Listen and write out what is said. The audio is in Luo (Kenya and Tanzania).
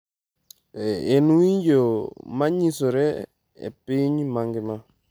En winjo ma nyisore e piny mangima.